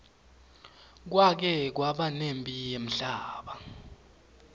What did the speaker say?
kwake kwaba nemphi yemhlaba